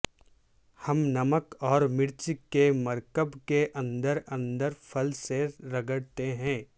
ہم نمک اور مرچ کے مرکب کے اندر اندر پھل سے رگڑتے ہیں